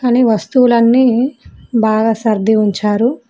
అన్ని వస్తువులన్నీ బాగా సర్ది ఉంచారు.